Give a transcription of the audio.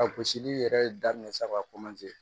A gosili yɛrɛ daminɛ saga